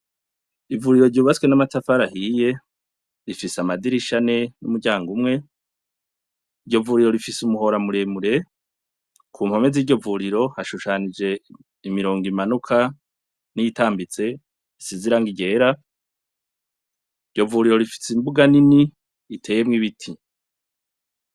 Ivuriro ryubatswe n'amatafari ahiye rifise amadirisha ane n'umuryango umwe iryo vuriro rifise umuhora muremure ku mpome z'iryo vuriro hashushanije imirongo imanuka n'iyitambitse isize irangi ryera iryo vuriro rifise imbuga nini iteyemwo ibiti.